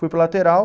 Fui para lateral